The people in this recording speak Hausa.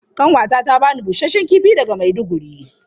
Ƙanwata ta ba ni busasshen kifi daga Maiduguri.